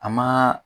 A maa